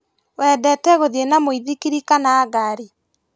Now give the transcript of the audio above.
Wendete gũthiĩ na mũithikiri kana ngari?